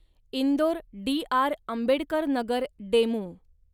Indore DR. Ambedkar Nagar DEMU